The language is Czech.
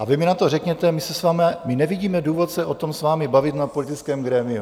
A vy mi na to řeknete: My nevidíme důvod se o tom s vámi bavit na politickém grémiu.